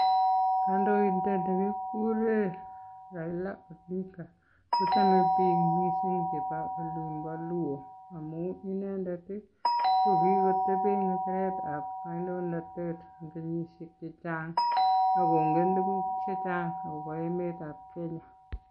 Kandoindet nekikure raila odinga kochome bik mising eng olimpo luo amu eng boishet nyi nebo biik.